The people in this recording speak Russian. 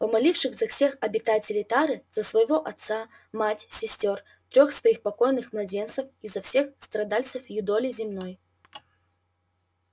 помолившись за всех обитателей тары за своего отца мать сестёр трёх своих покойных младенцев и за всех страдальцев юдоли земной